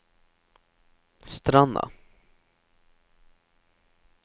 Stranda